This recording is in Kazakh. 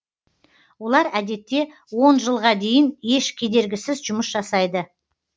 олар әдетте он жылға дейін еш кедергісіз жұмыс жасайды